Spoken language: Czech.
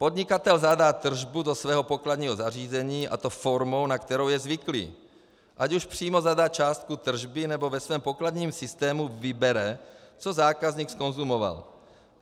Podnikatel zadá tržbu do svého pokladního zařízení, a to formou, na kterou je zvyklý, ať už přímo zadá částku tržby, nebo ve svém pokladním systému vybere, co zákazník zkonzumoval.